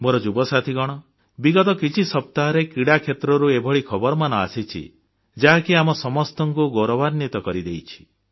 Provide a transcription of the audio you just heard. ମୋର ଯୁବସାଥୀଗଣ ବିଗତ କିଛି ସପ୍ତାହରେ କ୍ରୀଡ଼ା କ୍ଷେତ୍ରରୁ ଏଭଳି ଖବରମାନ ଆସିଛି ଯାହାକି ଆମ ସମସ୍ତଙ୍କୁ ଗୌରବାନ୍ୱିତ କରିଦେଇଛି